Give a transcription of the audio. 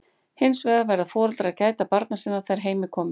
hins vegar verða foreldrar að gæta barna sinna þegar heim er komið